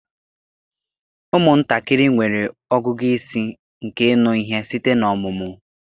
Ụmụntakịrị nwere ọgụgụ isi nke ịnụ ihe site n'ọmụmụ